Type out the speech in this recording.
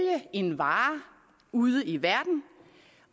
en vare ude i verden